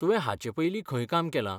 तुवें हाचे पयलीं खंय काम केलां?